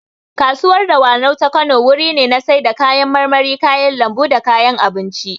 Kasuwar dawanau ta Kano wuri ne na sai da kayan marmari, kayan lambu da kayan abinci